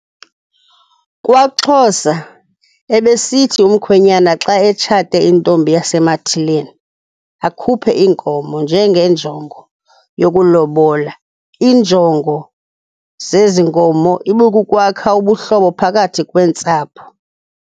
KwaXhosa ebethi umkhwenyana xa etshate intombi yasemathileni akhuphe iinkomo njengenjongo yokulobola. Iinjongo zezinkomo ibikukwakha ubuhlobo phakathi kweentsapho.